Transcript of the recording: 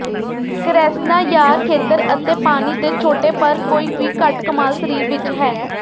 ਕ੍ਰੈਸ੍ਨਾਯਾਰ ਖੇਤਰ ਅਤੇ ਪਾਣੀ ਦੇ ਛੋਟੇ ਪਰ ਕੋਈ ਵੀ ਘੱਟ ਕਮਾਲ ਸਰੀਰ ਵਿਚ ਹੈ